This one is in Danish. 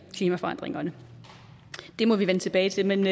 klimaforandringerne det må vi vende tilbage til men